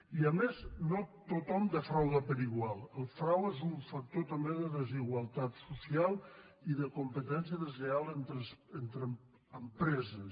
i a més no tothom defrauda per igual el frau és un factor també de desigualtat social i de com·petència deslleial entre empreses